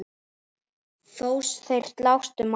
Þó þeir slást um margt.